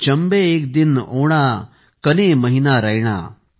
चंबे इक दिन ओणा कने महीना रैणा ।